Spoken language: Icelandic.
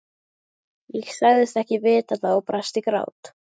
Ég sagðist ekki vita það og brast í grát.